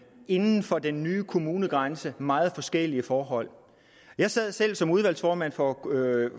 inden for de nye kommunegrænser meget forskellige forhold jeg sad selv som udvalgsformand for